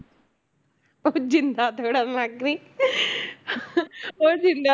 ਉਹ ਜ਼ਿੰਦਾ ਤੋੜਨ ਲੱਗ ਪਈ ਉਹ ਜ਼ਿੰਦਾ